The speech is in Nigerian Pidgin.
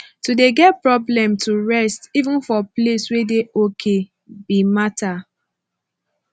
to de get problem to rest even for place wey de okay be matter